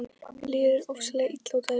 Mér líður ofsalega illa út af þessu.